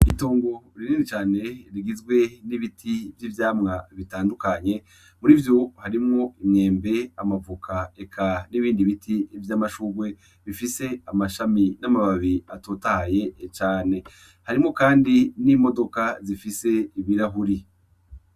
Itongo rinini cane rigizwe n'ibiti vy'ivyamwa bitandukanye muri vyo harimwo imwembe amavoka eka n'ibindi biti vy'amashugwe bifise amashami n'amababi atotahaye cane harimwo, kandi n'imodoka zifise ibirahuri.